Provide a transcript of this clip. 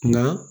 Nka